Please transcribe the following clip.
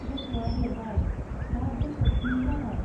गथ'आ देरबाय, दा बोसोर स्नि जाबाय।